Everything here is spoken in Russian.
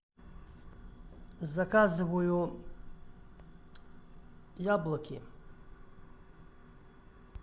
заказываю яблоки